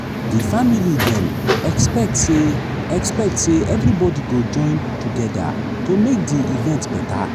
di family dem expect say expect say everybody go join together to make di event better.